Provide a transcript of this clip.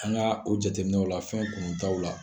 An ka o jateminɛw la fɛn kunutaw la